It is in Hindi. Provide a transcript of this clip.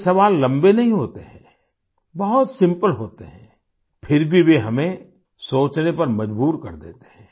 ये सवाल लंबे नहीं होते हैं बहुत सिम्पल होते हैं फिर भी वे हमें सोचने पर मजबूर कर देते हैं